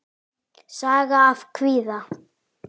Saga af kvíða.